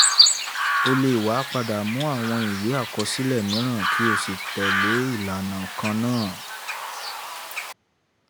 ó lè wá padà mú àwọn ìwé àkọsílẹ̀ mìíràn kí ó sì tẹ́lẹ̀ ìlànà kan náà.